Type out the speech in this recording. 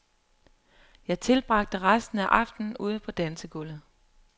Jeg tilbragte resten af aftenen ude på dansegulvet.